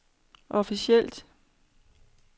officielt